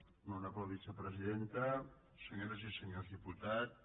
honorable vicepresidenta senyores i senyors diputats